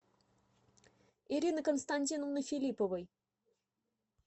ирины константиновны филипповой